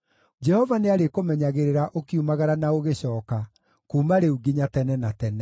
Jehova nĩarĩkũmenyagĩrĩra ũkiumagara na ũgĩcooka, kuuma rĩu nginya tene na tene.